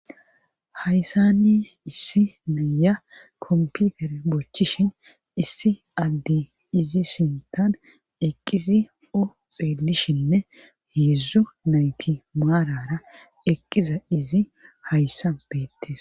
Hayssani issi naya komputere bochishin issi addi izi sintan eqqizi o xeellishinne heedzdzo nayti maarara eqqiza izi hayssa beettes,